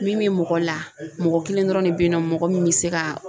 Min bɛ mɔgɔ la mɔgɔ kelen dɔrɔn de bɛ yen nɔ mɔgɔ min bɛ se ka